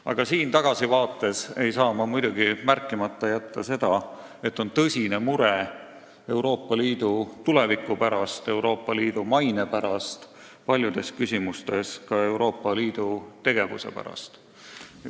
Aga siin tagasivaates ei saa ma muidugi jätta märkimata seda, et meil on tõsine mure Euroopa Liidu tuleviku pärast, Euroopa Liidu maine pärast ja paljudes küsimustes ka Euroopa Liidu tegevuse pärast.